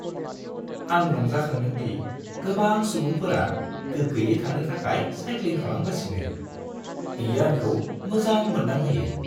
आं रंजाखांदों दि गोबां सुबुंफोरा गोगोयै थानो थाखाय साइक्लिं खालामगासिनो। बियो आंखौ मोजां मोनदांहोयो।